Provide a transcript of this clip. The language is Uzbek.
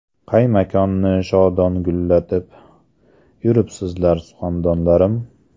Qay makonni shodon gullatib, Yuribsizlar suxandonlarim?